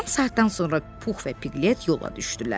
Yarım saatdan sonra Pux və Piqlet yola düşdülər.